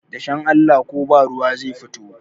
dashen Allah ko ba ruwa zai fito